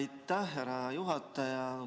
Aitäh, härra juhataja!